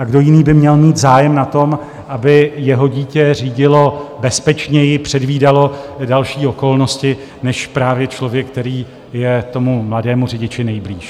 A kdo jiný by měl mít zájem na tom, aby jeho dítě řídilo bezpečněji, předvídalo další okolnosti, než právě člověk, který je tomu mladému řidiči nejblíž.